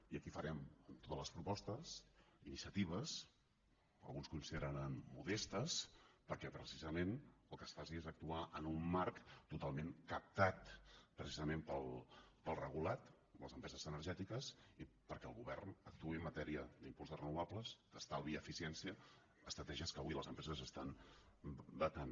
i aquí farem totes les propostes iniciatives que alguns consideraran modestes perquè precisament el que es faci és actuar en un marc totalment captat precisament pel regulat les empreses energètiques i perquè el govern actuï en matèria d’impuls de renovables d’estalvi i eficiència estratègies que avui les empreses estan vetant